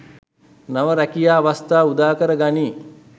නව රැකියා අවස්‌ථා උදාකර ගනී.